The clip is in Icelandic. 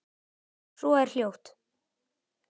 Og svo er hljótt.